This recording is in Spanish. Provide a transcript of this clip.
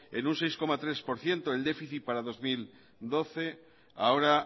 en un seis coma tres por ciento el déficit para dos mil doce ahora